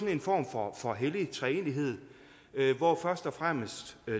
en form for for hellig treenighed hvor først og fremmest